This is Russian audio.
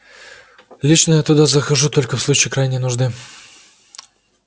лично я туда захожу только в случае крайней нужды